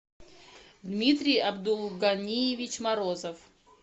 дмитрий абдулганиевич морозов